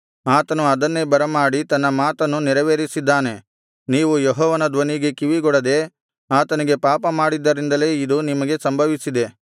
ಆತನು ಅದನ್ನೇ ಬರಮಾಡಿ ತನ್ನ ಮಾತನ್ನು ನೆರವೇರಿಸಿದ್ದಾನೆ ನೀವು ಯೆಹೋವನ ಧ್ವನಿಗೆ ಕಿವಿಗೊಡದೆ ಆತನಿಗೆ ಪಾಪಮಾಡಿದ್ದರಿಂದಲೇ ಇದು ನಿಮಗೆ ಸಂಭವಿಸಿದೆ